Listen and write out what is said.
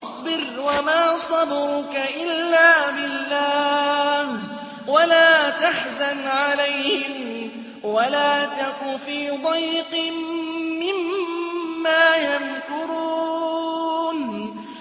وَاصْبِرْ وَمَا صَبْرُكَ إِلَّا بِاللَّهِ ۚ وَلَا تَحْزَنْ عَلَيْهِمْ وَلَا تَكُ فِي ضَيْقٍ مِّمَّا يَمْكُرُونَ